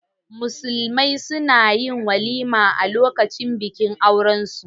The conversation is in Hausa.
Musulmi na yin walima a lokacin bikin aurensu.